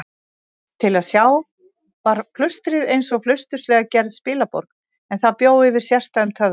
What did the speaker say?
Til að sjá var klaustrið einsog flausturslega gerð spilaborg, en það bjó yfir sérstæðum töfrum.